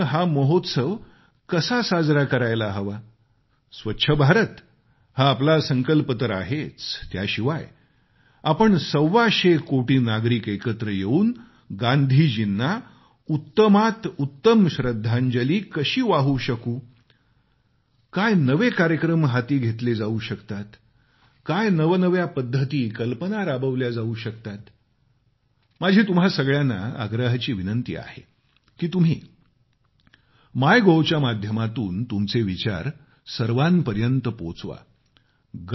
देशाने हा महोत्सव कसा साजरा करायला हवा स्वच्छ भारत हा आपला संकल्प तर आहेच त्याशिवाय आपण सव्वाशे कोटी नागरिक एकत्र येऊन गांधीजीना उत्तमात उत्तम श्रध्दांजली कशी वाहू शकतील काय नवे कार्यक्रम हाती घेतले जाऊ शकतात काय नवनव्या पद्धती कल्पना राबवल्या जाऊ शकतात माझी तुम्हा सगळ्यांना आग्रहाची विनंती आहे की तुम्ही माय गोव्हच्या माध्यमातून तुमचे विचार सर्वांपर्यत पोचवा